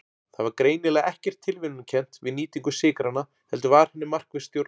Það var greinilega ekkert tilviljunarkennt við nýtingu sykranna heldur var henni markvisst stjórnað.